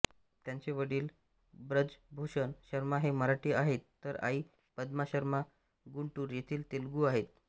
त्यांचे वडील व्रजभूषण शर्मा हे मराठी आहेत तर आई पद्मा शर्मा गुंटूर येथील तेलुगू आहेत